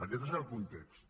aquest és el context